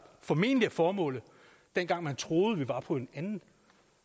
formentlig var formålet dengang man troede at vi var på et andet